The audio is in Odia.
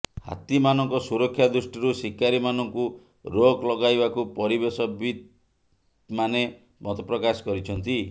ହାତୀମାନଙ୍କ ସୁରକ୍ଷା ଦୃଷ୍ଟିରୁ ଶିକାରୀମାନଙ୍କୁ ରୋକ୍ ଲଗାଇବାକୁ ପରିବେଶବିତ୍ମାନେ ମତପ୍ରକାଶ କରିଛନ୍ତି